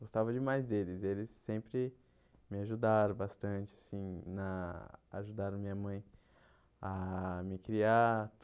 Gostava demais deles, eles sempre me ajudaram bastante assim na, ajudaram minha mãe a me criar.